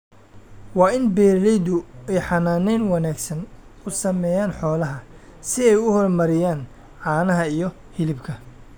Waa in beeralaydu ay xanaanayn wanaagsan u sameeyaan xoolaha si ay u horumariyaan caanaha iyo hilibka.